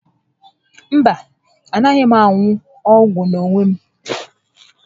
Mba, a naghị m aṅu ọgwụ n'onwe m